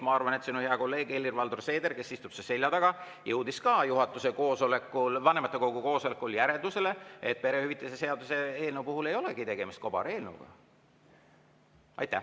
Ma arvan, et sinu hea kolleeg Helir-Valdor Seeder, kes istub su selja taga, jõudis ka vanematekogu koosolekul järeldusele, et perehüvitiste seaduse eelnõu puhul ei olegi tegemist kobareelnõuga.